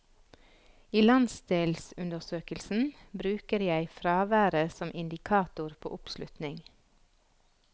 I landsdelsundersøkelsen bruker jeg fraværet som indikator på oppslutning.